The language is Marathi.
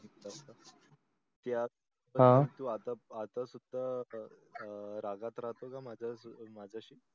त्यात प्रतीक हा तू आता सुद्धा रागात राहतो का माझ्याशी?